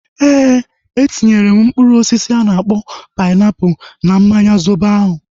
Ee, etinyere m mkpụrụ osisi a na-akpọ painiapulu na mmanya zobo ahu